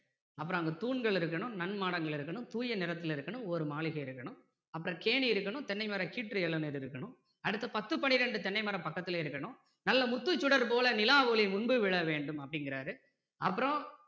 அப்பறம் அங்க தூண்கள் இருக்கணும் நன்மாடங்கள் இருக்கணும் தூய நிறத்துல இருக்கணும் ஒரு மாளிகை இருக்கணும் அப்பறம் கேணி இருக்கணும் தென்னை மர கீற்று இளநீர் இருக்கணும் அடுத்து பத்து பன்னிரண்டு தென்னை மரம் பக்கத்துலயே இருக்கணும் நல்ல முத்துச் சுடர்போல நிலாவொளி முன்பு விழ வேண்டும் அப்படிங்கிறாரு அப்பறோம்